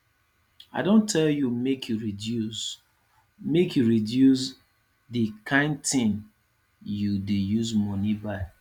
i don tell you make you reduce make you reduce the kyn thing you dey use money buy